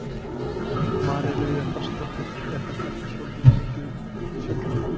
María Lilja Þrastardóttir: Er þetta ekki svolítið mikill fjöldi?